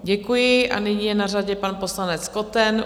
Děkuji a nyní je na řadě pan poslanec Koten.